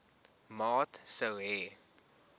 maat sou hê